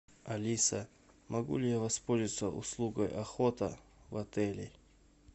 алиса могу ли я воспользоваться услугой охота в отеле